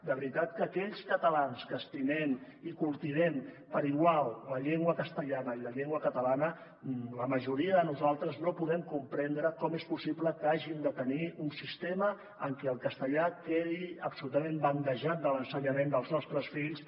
de veritat que aquells catalans que estimem i cultivem per igual la llengua castellana i la llengua catalana la majoria de nosaltres no podem comprendre com és possible que hàgim de tenir un sistema en què el castellà quedi absolutament bandejat de l’ensenyament dels nostres fills